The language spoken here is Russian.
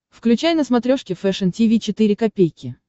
включай на смотрешке фэшн ти ви четыре ка